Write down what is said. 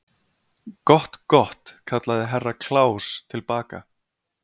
Gott, gott, kallaði Herra Kláus til baka.